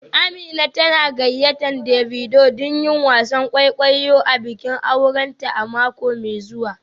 Amina tana gayyatar Davido don yin wasan kwaikwayo a bikin aurenta a mako mai zuwa